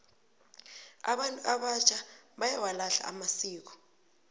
abantu abatjha bayawalahla amasiko